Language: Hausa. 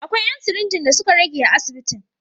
Akwai ‘yan sirinji da suka rage a asibitin.